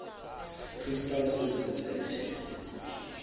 postal services act